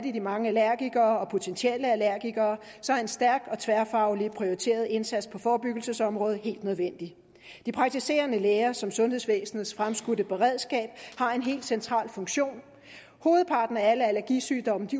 i de mange allergikere og potentielle allergikere er en stærk og tværfaglig prioriteret indsats på forebyggelsesområdet helt nødvendig de praktiserende læger som sundhedsvæsenets fremskudte beredskab har en helt central funktion hovedparten af alle allergisygdomme